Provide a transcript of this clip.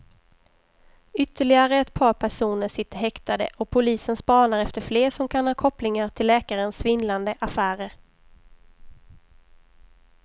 Ytterligare ett par personer sitter häktade och polisen spanar efter fler som kan ha kopplingar till läkarens svindlande affärer.